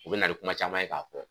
u be na ni kuma caman ye k'a fɔ